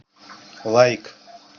лайк